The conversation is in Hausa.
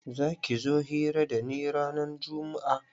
Za ki zo hira da ni ranan jummu'a?